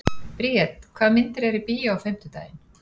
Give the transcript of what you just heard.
Briet, hvaða myndir eru í bíó á fimmtudaginn?